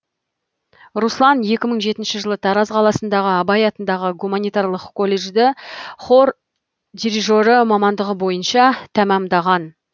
руслан екі мың жетінші жылы тараз қаласындағы абай атындағы гуманитарлық колледжді хор дирижері мамандығы бойынша тәмамдаған